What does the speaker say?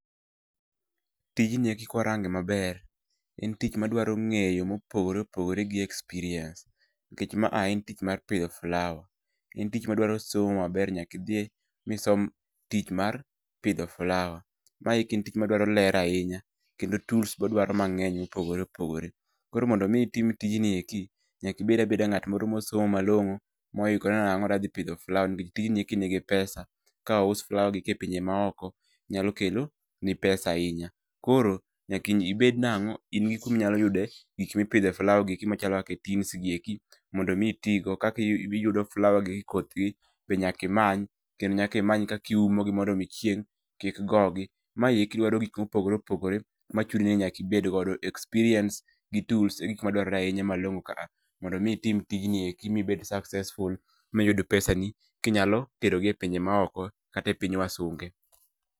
Tijni eki kwarange maber, en tich madwaro ng'eyo mopogore opogore gi experience. Nikech ma a en tich mar pidho flower. En tich madwaro somo maber nyaki idhie misom tich mar pidho flower. Maeki en tich madwaro ler ahinya, kendo tools bodwaro mang'eny mopogore opogore. Koro mondo omi itim tijni eki, nyaki ibed abeda ng'at moro mosomo malong'o, moikore nang'o odadhi pidho flower nikech tijni eki nigi pesa. Ka ous flower gi eki e pinje ma oko, nyalo keloni pesa ahinya. Koro, nyaki ibed nang'o, in gi kuminyalo yude, gik mipidhe flower gi eki machalo kake tins gi eki mondo mi itigo kaka i iyudo flower gi, kothgi, be nyaki imany, kendo nyaki imany kaki iumo gi mondo mi chieng', kik gogi. Mayeki dwaro gik mopogore opogore machuni ni nyaki ibed godo. experience, gi tools e gik madwarore ahinya malong'o ka a mondo mi itim tijni eki mibed successful miyud pesani, kinyalo, terogi e piny maoko kata e piny wasunge